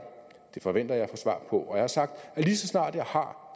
det forventer jeg at få svar på og jeg har sagt at lige så snart jeg har